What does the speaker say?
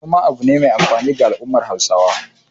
Noma abu ne mai amfani ga al'ummar Hausawa.